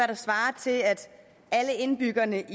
der svarer til at alle indbyggerne